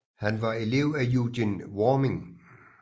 Han var elev af Eugen Warming